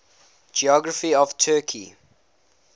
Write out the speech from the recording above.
geography of turkey